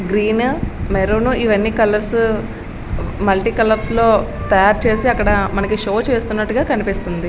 Green maroon ఇవన్నీ colours multi colours లో తయారు చేసి అక్కడ షో చేసినట్లుగా కనిపిస్తుంది.